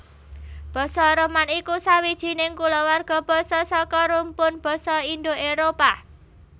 Basa Roman iku sawijining kulawarga basa saka rumpun basa Indo Éropah